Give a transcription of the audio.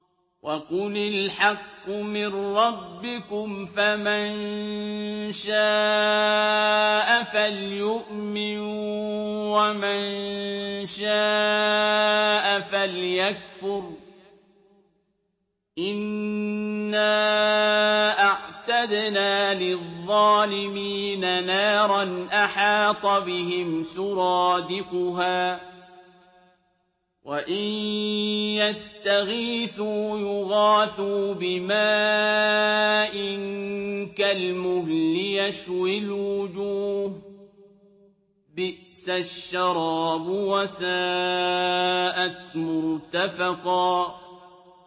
وَقُلِ الْحَقُّ مِن رَّبِّكُمْ ۖ فَمَن شَاءَ فَلْيُؤْمِن وَمَن شَاءَ فَلْيَكْفُرْ ۚ إِنَّا أَعْتَدْنَا لِلظَّالِمِينَ نَارًا أَحَاطَ بِهِمْ سُرَادِقُهَا ۚ وَإِن يَسْتَغِيثُوا يُغَاثُوا بِمَاءٍ كَالْمُهْلِ يَشْوِي الْوُجُوهَ ۚ بِئْسَ الشَّرَابُ وَسَاءَتْ مُرْتَفَقًا